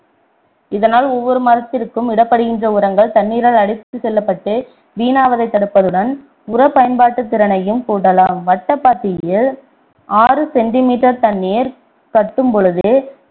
இதனால் ஒவ்வொரு மரத்திற்கும் இடப்படுகின்ற உரங்கள் தண்ணீரால் அடித்துச் செல்லப்பட்டு வீணாவதை தடுப்பதுடன் உர பயன்பாட்டுத் திறனையும் கூட்டலாம் வட்டப்பாத்தியில் ஆறு centimeter தண்ணீர் கட்டும் பொழுது